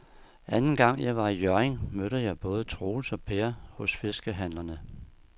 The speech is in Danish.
Anden gang jeg var i Hjørring, mødte jeg både Troels og Per hos fiskehandlerne.